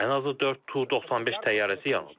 Ən azı 4 Tu-95 təyyarəsi yanıb.